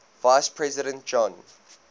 vice president john